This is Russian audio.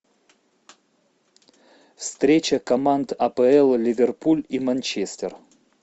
встреча команд апл ливерпуль и манчестер